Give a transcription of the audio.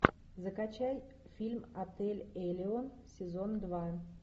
закачай фильм отель элеон сезон два